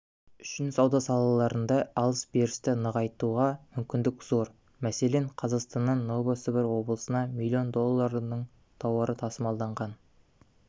үшін сауда салаларында алыс-берісті нығайтуға мүмкіндік зор мәселен қазақстаннан новосібір облысына миллион долларының тауары тасымалданған